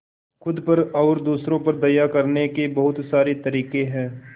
खुद पर और दूसरों पर दया करने के बहुत सारे तरीके हैं